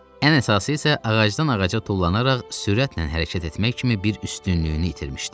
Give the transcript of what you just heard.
Ən əsası isə ağacdan ağaca tullanaraq sürətlə hərəkət etmək kimi bir üstünlüyünü itirmişdi.